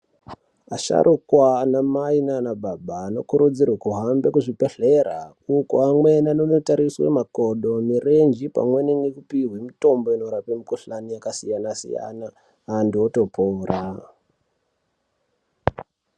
Asharukwa ana mai nanababa anokurudzirwe kuhambe kuzvibhedhlera ukoanoenda kotariswe makodo, mirenji pamweni nekupihwa mitombo inorape mikuhlani yakasiyana-siyana, antu otopora.